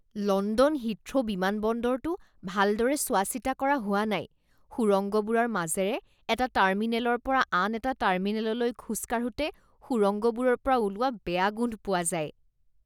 London Heathrow বিমানবন্দৰটো ভালদৰে চোৱাচিতা কৰা হোৱা নাই। সুৰংগবোৰৰ মাজেৰে এটা টাৰ্মিনেলৰ পৰা আন এটা টাৰ্মিনেললৈ খোজ কাঢ়োঁতে সুৰংগবোৰৰ পৰা ওলোৱা বেয়া গোন্ধ পোৱা যায়।